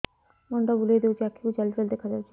ମୁଣ୍ଡ ବୁଲେଇ ଦେଉଛି ଆଖି କୁ ଜାଲି ଜାଲି ଦେଖା ଯାଉଛି